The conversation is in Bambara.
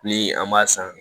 Ni an b'a san